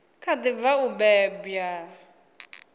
kha ḓi bva u bebwa